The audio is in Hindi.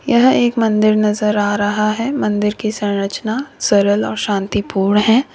यह एक मंदिर नजर आ रहा है मंदिर की संरचना सरल और शांतिपूर्ण है।